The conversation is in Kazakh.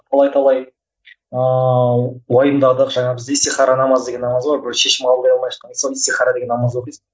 талай талай ыыы уайымдадық жаңа бізде истихара намаз деген намаз бар біреу шешім қабылдай алмай жатқанда сол истихара деген намаз оқисың